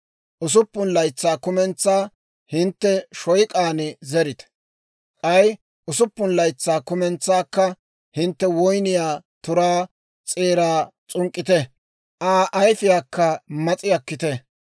Usuppun laytsaa kumentsaa hintte shoyk'aan zerite; k'ay usuppun laytsaa kumentsaakka hintte woyniyaa turaa s'eeraa s'unk'k'ite; Aa ayfiyaakka mas'i akkite.